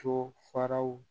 To faraw